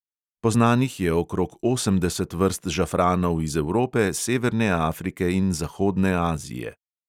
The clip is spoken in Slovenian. Poznanih je okrog osemdeset vrst žafranov iz evrope, severne afrike in zahodne azije.